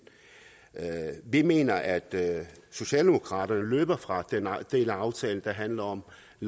vi mener at socialdemokraterne løber fra den del af aftalen der handler om